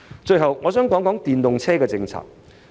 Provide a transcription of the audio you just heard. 最後，我想談談電動車政策。